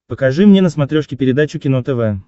покажи мне на смотрешке передачу кино тв